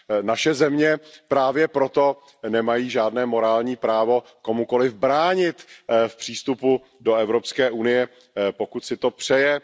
Naše země právě proto nemají žádné morální právo komukoli bránit v přístupu do Evropské unie, pokud si to přeje.